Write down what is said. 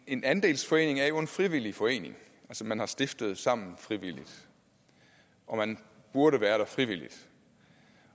en andelsforening er en frivillig forening som man har stiftet sammen frivilligt og man burde være der frivilligt